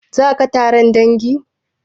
Zaka taron dangin?